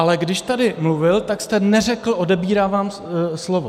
Ale když tady mluvil, tak jste neřekl "odebírám vám slovo".